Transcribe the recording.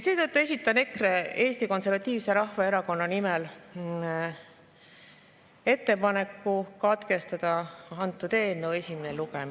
Seetõttu esitan EKRE, Eesti Konservatiivse Rahvaerakonna nimel ettepaneku katkestada eelnõu esimene lugemine.